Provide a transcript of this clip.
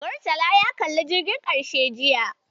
Murtala ya kalli "Jirgin Ƙarshe" jiya.